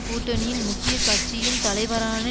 கூட்டணியின் முக்கிய கட்சியின் தலைவரான